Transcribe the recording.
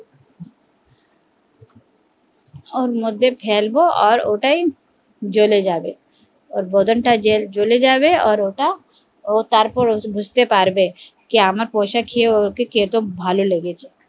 ওর মধ্যে ফেলবো ওর ওটাই জলে যাবে ওর বদন তা জলে যাবে ওর ওটা তারপর বুজতে পারবে আমার পয়সা খেয়ে ওকে কত ভালো লেগেছে